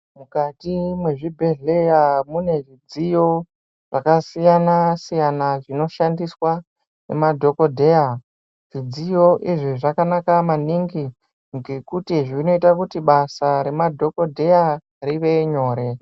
Mukati mwezvibhehleya munezvidziyo zvakasiyana siyana zvinoshandiswa ngemadhokodzheya zvidziyo izvi zvakana maningi ngekuti zvinoita kuti basa remadhokodheya rive nyore.